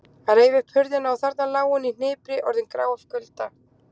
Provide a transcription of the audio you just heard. Hann reif upp hurðina og þarna lá hún í hnipri orðin grá af kulda.